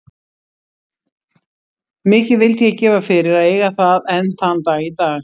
Mikið vildi ég gefa fyrir að eiga það enn þann dag í dag.